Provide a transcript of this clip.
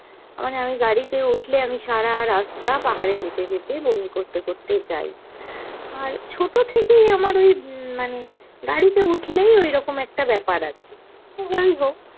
মানে আমি গাড়িত উঠলে আমি সারা রাস্তা পাহাড়ে যেতে যেতে বমি করতে করতে যায়, আর ছোটো থেকেই আমার ওই উম মানে গাড়িতে উঠলেই ওইরকম একটা ব্যাপার আছে। তো যাইহোক